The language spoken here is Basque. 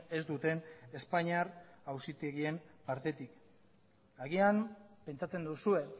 ez duten espainiar auzitegien partetik agian pentsatzen duzue